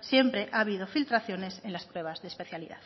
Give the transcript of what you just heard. siempre ha habido filtraciones en las pruebas de especialidad